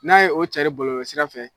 N'a ye o cɛri bɔlɔlɔsira fɛ